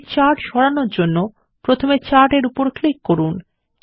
একটি চার্ট সরানোর জন্য প্রথমে চার্ট এর উপর ক্লিক করুন